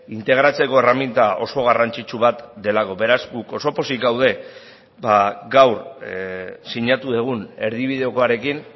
integratzeko erreminta oso garrantzitsu bat delako beraz guk oso pozik gaude gaur sinatu dugun erdibidekoarekin